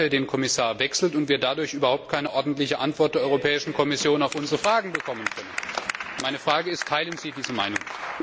den Kommissar wechselt und wir dadurch überhaupt keine ordentliche Antwort der Europäischen Kommission auf unsere Frage bekommen können. Meine Frage ist Teilen Sie diese Meinung?